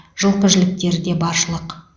жылқы жіліктері де баршылық